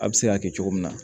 A bɛ se ka kɛ cogo min na